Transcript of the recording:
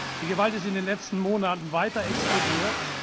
Die Gewalt ist in den letzten Monaten weiter explodiert.